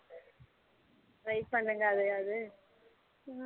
try பண்ணுங்க அதயாவது